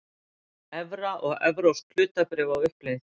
Evra og evrópsk hlutabréf á uppleið